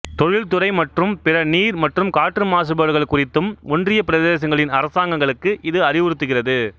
தொழில்துறை மற்றும் பிற நீர் மற்றும் காற்று மாசுபாடுகள் குறித்தும் ஒன்றியப் பிரதேசங்களின் அரசாங்கங்களுக்கு இது அறிவுறுத்துகிறது